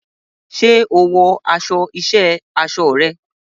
Ṣé o wọ aṣọ iṣẹ́ aṣọ rẹ?